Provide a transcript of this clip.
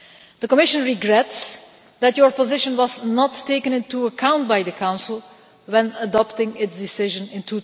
The Commission regrets that your position was not taken into account by the Council when adopting its decision in